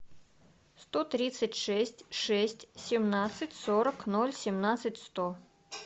сто тридцать шесть шесть семнадцать сорок ноль семнадцать сто